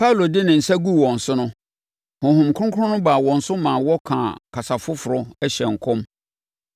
Paulo de ne nsa guu wɔn so no, Honhom Kronkron baa wɔn so maa wɔkaa kasa foforɔ, hyɛɛ nkɔm.